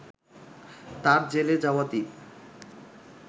তার জ্বেলে যাওয়া দীপ